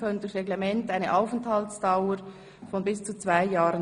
Wir stimmen über Artikel 11 Absatz 2 ab.